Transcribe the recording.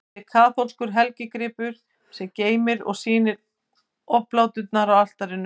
Þetta er kaþólskur helgigripur, sem geymir og sýnir obláturnar á altarinu.